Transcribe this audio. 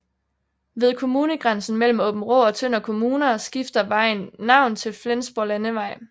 Ved kommunegrænsen mellem Aabenraa og Tønder Kommuner skifter vejen navn til Flensborglandevej